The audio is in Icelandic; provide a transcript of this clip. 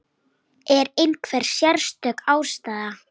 Er einhver sérstök ástæða?